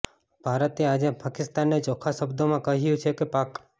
ભારતે આજે પાકિસ્તાનને ચોખ્ખા શબ્દોમાં કહ્યું છે કે પાક